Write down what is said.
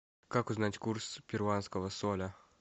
как узнать курс перуанского соля